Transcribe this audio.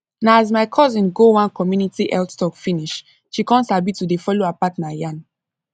na as my cousin go one community health talk finish she come sabi to de follow her partner yan